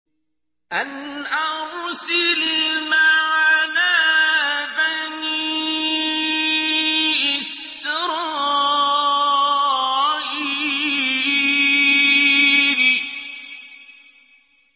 أَنْ أَرْسِلْ مَعَنَا بَنِي إِسْرَائِيلَ